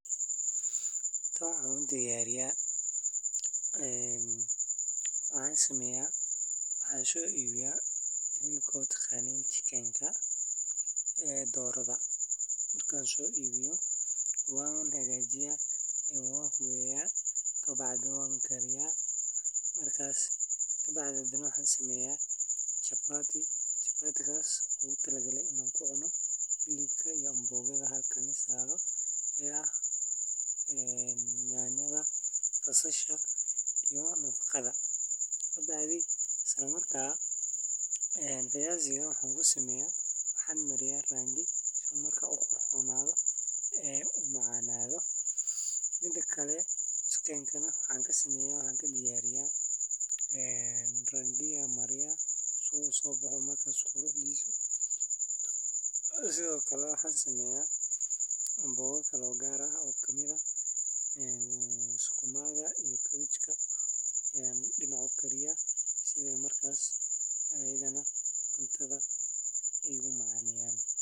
Xilibka iyo baradada macaan waa isku-dar cunto dhaqameed oo si weyn loogu jecel yahay Soomaalida dhexdeeda. Xilibku waa hilibka la dubay ama la shiilay ee laga gooyo neefka la qalay, waxaana lagu diyaariyaa saliid yar, xawaash iyo basbaas si uu u yeesho dhadhan qoto dheer. Dhinaca kale, baradada macaan waa khudrad xidid ah oo la kariyo, la shiilo ama mararka qaar la dubo, taasoo leh dhadhan macaan iyo nafaqo badan. Marka la isku daro xilibka iyo baradada macaan, waxaa laga helaa cunto dhadhan fiican leh.